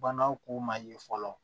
Banaw k'u ma ye fɔlɔ